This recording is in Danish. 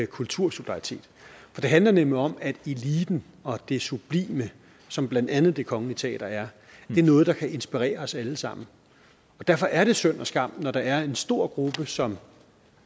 kultursolidaritet for det handler nemlig om at eliten og det sublime som blandt andet det kongelige teater er er noget der kan inspirere os alle sammen og derfor er det synd og skam når der er en stor gruppe som